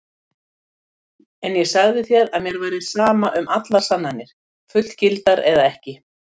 En ég sagði þér að mér væri sama um allar sannanir, fullgildar eða ekki.